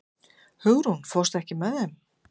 Hugrún, ekki fórstu með þeim?